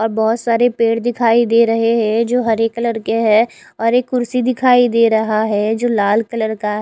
और बहोत सारे पेड़ दिखाइ दे रहे है जो हरे कलर के है और एक कुड्सी दिखाई दे रहा है जो लाल कलर का है।